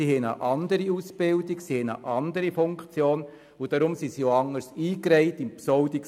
Sie haben eine andere Ausbildung und eine andere Funktion, weshalb sie bei der Besoldung auch anders behandelt werden.